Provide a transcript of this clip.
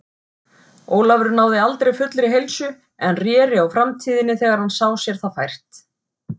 Ólafur náði aldrei fullri heilsu, en réri á Framtíðinni þegar hann sá sér það fært.